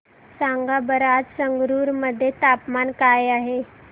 सांगा बरं आज संगरुर मध्ये तापमान काय आहे